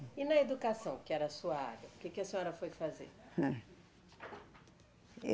E na educação, que era a sua área, o que que a senhora foi fazer? Eh